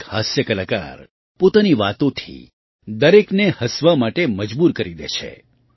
એક હાસ્ય કલાકાર પોતાની વાતોથી દરેકને હસવા માટે મજબૂર કરી દે છે